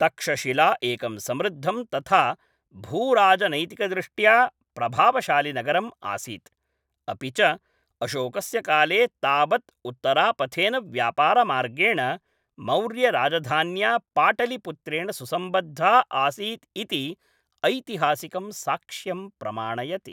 तक्षशिला एकं समृद्धं तथा भूराजनैतिकदृष्ट्या प्रभावशालि नगरम् आसीत्, अपि च अशोकस्य काले तावत् उत्तरापथेन व्यापारमार्गेण मौर्यराजधान्या पाटलिपुत्रेण सुसम्बद्धा आसीत् इति ऐतिहासिकं साक्ष्यं प्रमाणयति।